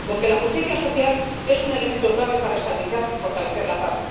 Porque la justicia social es un elemento clave para estabilizar y fortalecer la paz.